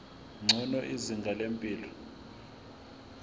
ngcono izinga lempilo